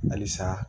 Halisa